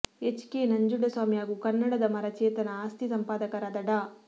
H K Nanjunda Swamy ಹಾಗೂ ಕನ್ನಡದಮರ ಚೇತನ ಆಸ್ತಿ ಸಂಪಾದಕರಾದ ಡಾ